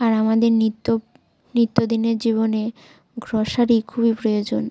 আর আমাদের নিত্য নিত্যদিনের জীবনে গ্রোসারি খুবই প্রয়োজন।